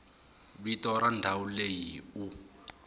vito ra ndhawu leyi u